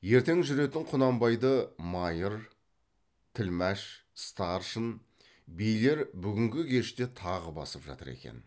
ертең жүретін құнанбайды майыр тілмәш старшын билер бүгінгі кеште тағы басып жатыр екен